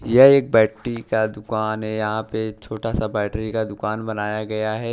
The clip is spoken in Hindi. यह एक बैटरी का दुकान है यहां पे छोटा सा बैटरी का दुकान बनाया गया है।